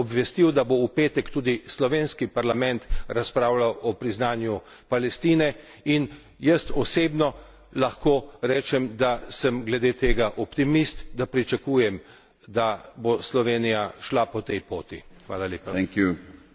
Na koncu bi vas rad še obvestil, da bo v petek tudi slovenski parlament razpravljal o priznanju Palestine in jaz osebno lahko rečem, da sem glede tega optimist, da pričakujem, da bo Slovenija šla po tej poti.